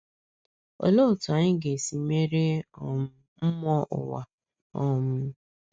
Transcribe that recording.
Olee otú anyị ga-esi merie um mmụọ ụwa? um